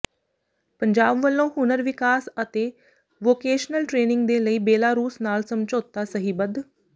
ਪੰਜਾਬ ਵੱਲੋਂ ਹੁਨਰ ਵਿਕਾਸ ਅਤੇ ਵੋਕੇਸ਼ਨਲ ਟ੍ਰੇਨਿੰਗ ਦੇ ਲਈ ਬੇਲਾਰੂਸ ਨਾਲ ਸਮਝੌਤਾ ਸਹੀਬੱਧ